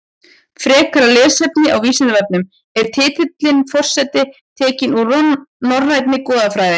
Frekara lesefni á Vísindavefnum Er titillinn forseti tekinn úr norrænni goðafræði?